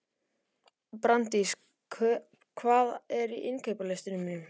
Brandís, hvað er á innkaupalistanum mínum?